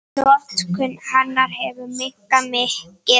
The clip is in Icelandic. Notkun hennar hefur minnkað mikið.